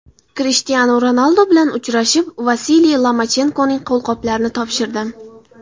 Krishtianu Ronaldu bilan uchrashib, Vasiliy Lomachenkoning qo‘lqoplarini topshirdim.